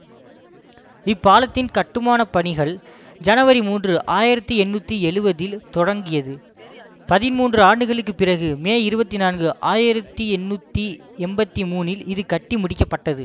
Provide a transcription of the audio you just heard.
இப்பாலத்தின் கட்டுமானப்பணிகள் ஜனவரி மூன்று ஆயிரத்தி எண்ணூற்றி எழுவதில் தொடங்கியது பதின்மூன்று ஆண்டுகளுக்கு பிறகு மே இருபத்தி நான்கு ஆயிரத்தி எண்ணூற்றி எம்பத்தி மூனில் இது கட்டி முடிக்க பட்டது